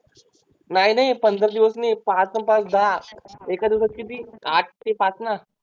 नाही नाही पंधरा दिवस नाही पाच अन पाच दहा एका दिवसात किती आठ ते पाच ना